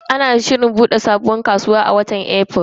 Ana shirin bude sabuwar kasuwar a watan Afrilu.